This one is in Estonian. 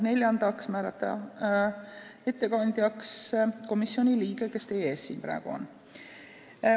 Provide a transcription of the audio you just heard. Neljandaks otsustati määrata ettekandjaks komisjoni liige, kes teie ees siin praegu on.